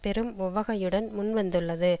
பெரும் உவகையுடன் முன்வந்துள்ளது